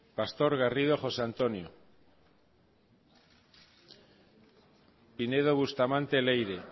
pastor garrido josé antonio pinedo bustamante leire